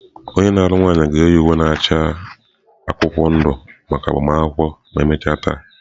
Onye na-alụ nwanyị ọhụrụ ga-eyi uwe na-acha akwụkwọ ndụ maka agbamakwụkwọ ma emechaa taa.